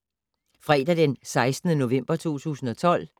Fredag d. 16. november 2012